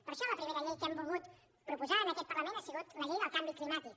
per això la primera llei que hem volgut proposar en aquest parlament ha sigut la llei del canvi climàtic